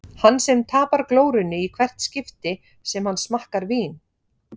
Hann sem tapar glórunni í hvert skipti sem hann smakkar vín.